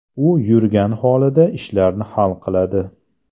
U yurgan holida ishlarini hal qiladi.